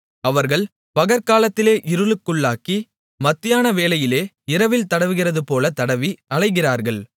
அவர்கள் பகற்காலத்திலே இருளுக்குள்ளாகி மத்தியான வேளையிலே இரவில் தடவுகிறதுபோல தடவி அலைகிறார்கள்